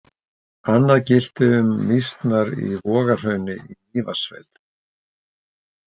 Annað gilti um mýsnar í Vogahrauni í Mývatnssveit.